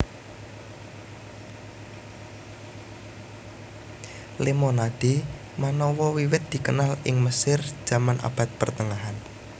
Lemonade manawa wiwit dikenal ing Mesir jaman abad pertengahan